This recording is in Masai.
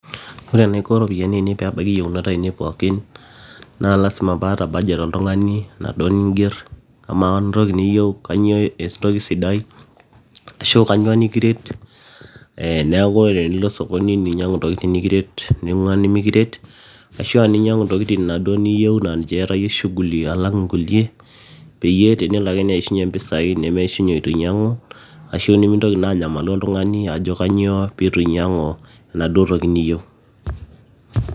Oe enaiko iropiyiani aine peebaiki iyieunot ainei pookin naa lazima paata budget oltung'ani naduo ninger ama entoki niyieu kanyioo esidai ashua kanyioo nikiret ee neeku ore tenilo sokoni ninyiang'u intokitin nikiret ning'uaa inimikiret ashua ninyiang'u intokitin inaduo niyieu niatayie shughuli alang inkulie peyie tenelo ake neishunye impisai nemeeishunye eitu inyiang'u ashu nimintoli naa anyamalu oltung'ani ajo kanyioo peetu inyiang'u endaduo toki niyieu.